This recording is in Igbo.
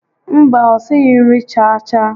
Mba, o sighi nri chaa chaa